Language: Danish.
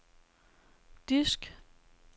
disk